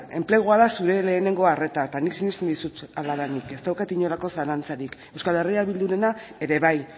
enplegua da zure lehenengo arreta eta nik sinesten dizut hala denik ez daukat inolako zalantzarik euskal herria bildurena ere bai